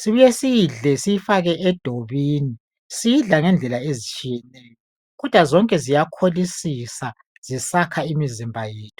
sibuye siyidle asiyifake edobini. Siyidla ngendlela ezitshiyeneyo, kodwa zonke ziyakholisisa zisakha imizimba yethu.